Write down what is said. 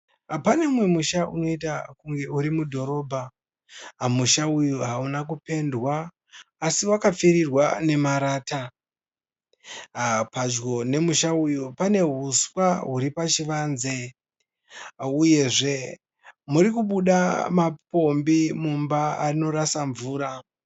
Pane musha unoita kunge uri mudhorobha musha uyu hauna kupendwa asi vakapfirirwa ne marata pedyo ne musha uyu pane huswa huru pachivanze uyezve murikubuda mapombi mumba anorasa mvura